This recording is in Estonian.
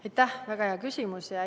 Aitäh, väga hea küsimus!